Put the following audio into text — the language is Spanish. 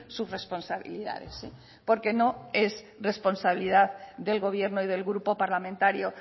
sus responsabilidades porque no es responsabilidad del gobierno y del grupo parlamentario